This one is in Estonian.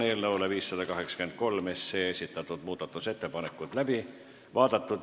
Eelnõu 583 muudatusettepanekud on läbi vaadatud.